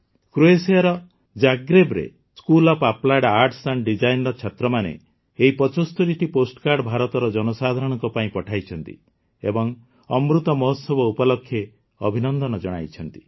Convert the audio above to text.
କ୍ରୋଏସିଆର ଜାଗ୍ରେବରେ school of applied arts and Designeର ଛାତ୍ରମାନେ ଏହି ୭୫ଟି ପୋଷ୍ଟକାର୍ଡ଼ ଭାରତର ଜନସାଧାରଣଙ୍କ ପାଇଁ ପଠାଇଛନ୍ତି ଏବଂ ଅମୃତ ମହୋତ୍ସବ ଉପଲକ୍ଷେ ଅଭିନନ୍ଦନ ଜଣାଇଛନ୍ତି